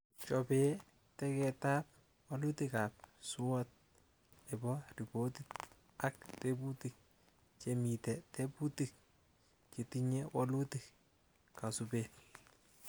Chobe teketab walutikab SWOT nebo ripotit ak tebutik; chemite tebutik chetinyie walutik, kasubet